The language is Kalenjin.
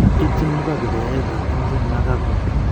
Ityin Mugabe koyoeioet ab Emmerson Mnangagwa.